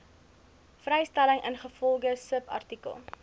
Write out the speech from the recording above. vrystelling ingevolge subartikel